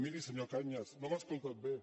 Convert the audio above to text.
miri senyor cañas no m’ha escoltat bé